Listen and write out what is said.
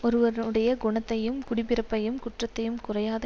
ஒருவனுடைய குணத்தையும் குடிப்பிறப்பையும் குற்றத்தையும் குறையாத